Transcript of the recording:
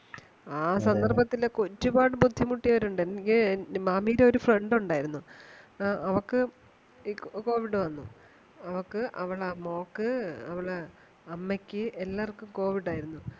ആ സന്ദർഭത്തിൽ ഒക്കെ ഒരുപാടു ബുദ്ധിമുട്ടിയവരുണ്ട് എനിക്ക് മാമിടെ ഒരു friend ഉണ്ടായിരുന്നു ആ അവൾക്കു ഈ covid വന്നു അവൾക്കു അവൾടെ മോൾക്ക് അമ്മക്ക് എല്ലാർക്കും covid ആയിരുന്നു